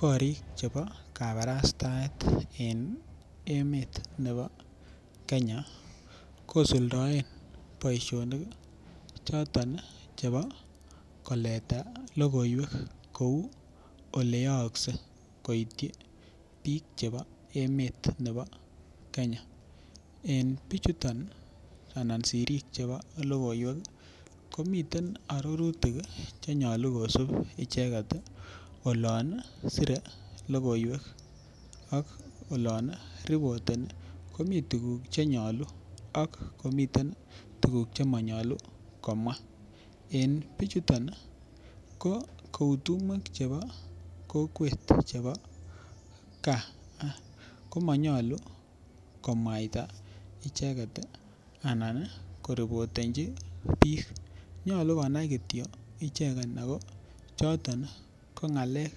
Korik chebo kabarastaet en emet nebo Kenya kisuldoen boishonik choton chebo koleta lokoiwek kou ole yoksei koityi bik chebo emet nebo Kenya en bichuton ana sirikmchebo. Lokoiwek komiten ororutik Chenyolu kisibi icheket tii olon sire lokoiwek ak olon rekodeni komii tukuk chenyolu akomiten tukuk chemonyolu komwa. En bichuton nii ko kou tumwek chebo kokwet chebo gaa komonyolu kiimwaita icheket anan korekondechi bik nyolu konai kityok icheket choton ko ngalek